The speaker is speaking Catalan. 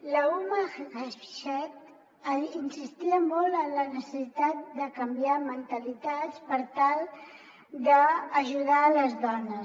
l’huma jamshed insistia molt en la necessitat de canviar mentalitats per tal d’ajudar les dones